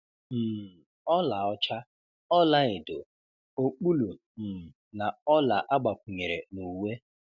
um Ọlaọcha, ọlaedo, okpulu um na ọla agbakwunyere n’uwe.